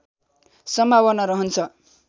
सम्भावना रहन्छ